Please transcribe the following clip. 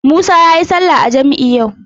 Musa yayi sallah a jam'i yau.